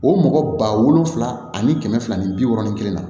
O mɔgɔ ba wolonvila ani kɛmɛ fila ni bi wɔɔrɔnan kelen na